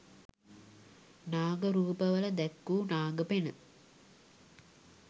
නාග රූප වල දැක්වු නාග පෙණ